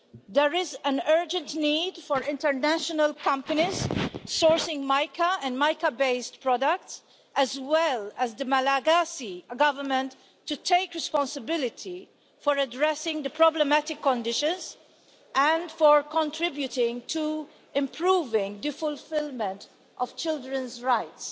There is an urgent need for international companies sourcing mica and mica based products, as well as the Malagasy government to take responsibility for addressing the problematic conditions, and for contributing to improving the fulfilment of children's rights.